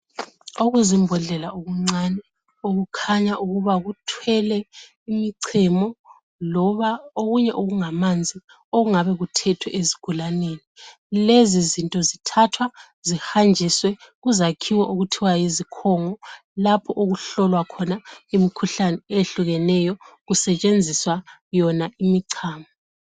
Okuzimbodlela okuncane okukhanya ukuba kuthwele imichemo loba okunye okungamanzi okungabe kuthethwe ezigulaneni lezo zinto zithathwa zihanjiswe kuzakhiwo okuthiwa yizikhongo lapho okuhlolwa imikhuhlane eyehlukeneyo kusetshenziswa yona imichemo.